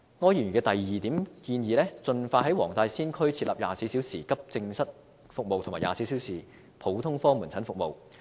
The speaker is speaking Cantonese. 柯議員的第二點建議是盡快在黃大仙區設立24小時急症室服務及24小時普通科門診服務。